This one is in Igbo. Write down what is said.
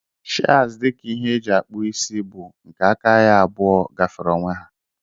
Shears dika ihe eji akpụ isi bu ihe nke aka ya abụọ gafere ọnwe ha.